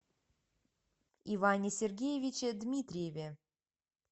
иване сергеевиче дмитриеве